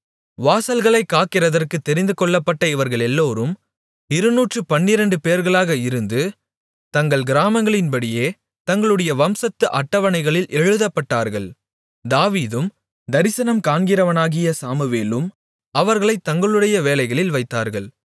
வாசல்களைக் காக்கிறதற்குத் தெரிந்துகொள்ளப்பட்ட இவர்களெல்லாரும் இருநூற்றுப் பன்னிரெண்டுபேர்களாக இருந்து தங்கள் கிராமங்களின்படியே தங்களுடைய வம்சத்து அட்டவணைகளில் எழுதப்பட்டார்கள் தாவீதும் தரிசனம்காண்கிறவனாகிய சாமுவேலும் அவர்களைத் தங்களுடைய வேலைகளில் வைத்தார்கள்